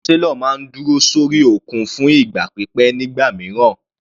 Àwọn sailor máa ń dúró sórí òkun fún ìgbà pípẹ́ nígbà mìíràn.